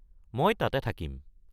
মই তাতে থাকিম।